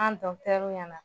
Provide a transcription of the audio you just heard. An ɲɛna